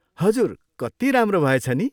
हजुर! कति राम्रो भएछ नि?